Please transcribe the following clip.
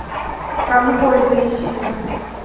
конвой поищи